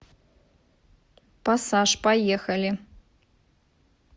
пассаж поехали